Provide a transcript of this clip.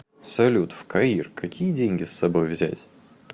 салют в каир какие деньги с собой взять